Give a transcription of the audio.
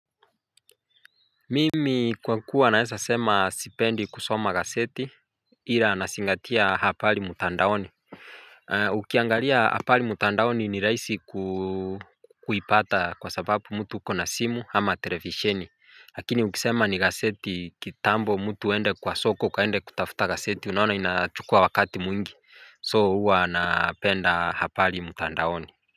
Mimi kwa kuwa naweza sema sipendi kusoma gaseti ila nazingatia habari mtandaoni. Ukiangalia habari mtandaoni ni rahisi kuipata kwa sababu mtu uko na simu ama televisheni. Lakini ukisema ni gazeti kitambo mtu aende kwa soko ukaende kutafuta gazeti unaona inachukua wakati mwingi. 'So' huwa napenda habari mtandaoni.